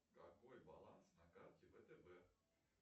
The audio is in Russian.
какой баланс на карте втб